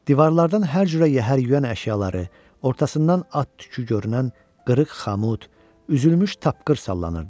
Divarlardan hər cürə yəhər-yüyən əşyaları, ortasından at tükü görünən qırıq xamut, üzülmüş tapqır sallanırdı.